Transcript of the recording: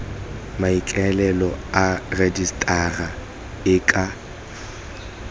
maikaelelo a rejisetara e ke